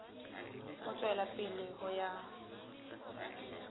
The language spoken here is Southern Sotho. ho tswela pele ho ya